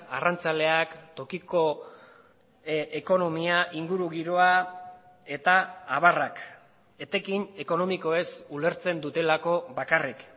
arrantzaleak tokiko ekonomia ingurugiroa eta abarrak etekin ekonomikoez ulertzen dutelako bakarrik